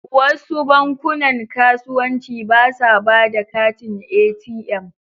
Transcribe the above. Wasu bankunan kasuwanci ba sa ba da katin ATM.